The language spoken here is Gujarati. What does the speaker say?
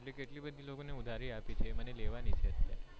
કેટલી બધી લોકો ને ઉધારી આપી છે એ મને લેવાની છે અત્યારે